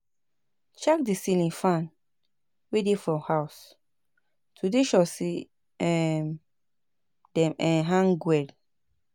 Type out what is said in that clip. Check di ceiling fan wey dey for house to dey sure sey um dem um hang well